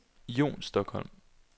Jon Stokholm